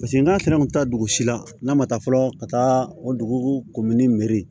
Paseke n'a sera an bɛ taa dugu si la n'a ma taa fɔlɔ ka taa o dugu